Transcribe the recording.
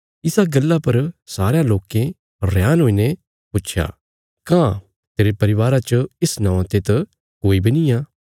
इसा गल्ला पर सारेयां लोकें रेहान हुईने पुच्छया कां तेरे परिवारा च इस नौआं ते त कोई बी निआं